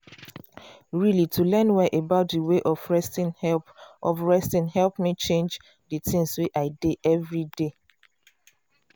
really to learn well about d way of resting help of resting help me change d things wey i dey everyday.